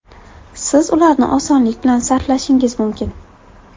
Siz ularni osonlik bilan sarflashingiz mumkin!